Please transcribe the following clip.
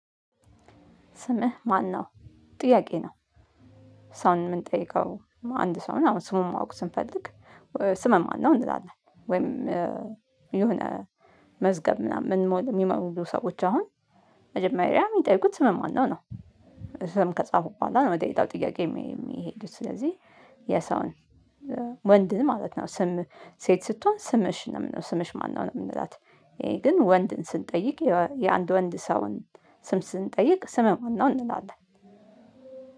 ስምህ ማነው ጥያቄ ነው። ሰውን የምንጠይቀው አንድ ሰው ነው አሁን ስሙን ማወቅ ስንፈልግ። ስምህ ማነው እንላለን ወይም የሆነ መዝገብ ምናምን የሚመዘግቡ ሰዎች አሁን መጀመሪያ የሚጠይቁት ስም ማነው ነው። ስም ከጻፉ በኋላ ነው የጤናው ጥያቄ የሚሄዱት ስለዚህ። የሰውን ወንድ ማለት ነው ስም ሴት ስትሆን ስምሽ ነው የምነው ስምሽ ማነው ነው የምንላት። ይሄ ግን ወንድን ስንጠይቅ የአንድ ወንድ ሰውን ስም ስንጠይቅ ስምህ ማነው እንላለን